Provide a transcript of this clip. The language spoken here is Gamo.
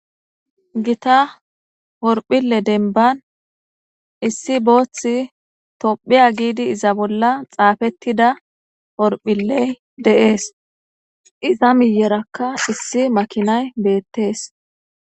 Gita horphille denban issi booththi tophiya giidi iza bolla xaafettida horphiley deees iza miyerakka issi makinay beettees.